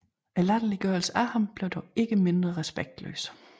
Latterliggørelsen af ham blev dog ikke mindre respektløs